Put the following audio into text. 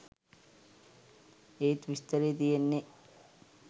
ඒත් විස්තරේ තියෙන්නේ